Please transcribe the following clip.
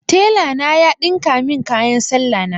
Telana ya ɗinka min kayan salla na.